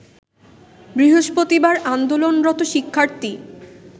বৃহস্পতিবার আন্দোলনরত শিক্ষার্থী